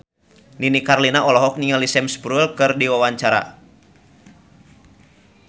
Nini Carlina olohok ningali Sam Spruell keur diwawancara